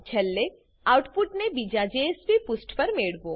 અને છેલ્લે આઉટપુટને બીજા જેએસપી પુષ્ઠ પર મેળવો